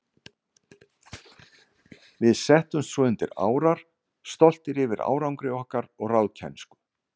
Við settumst svo undir árar, stoltir yfir árangri okkar og ráðkænsku.